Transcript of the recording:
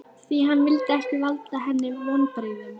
Því hann vildi ekki valda henni vonbrigðum.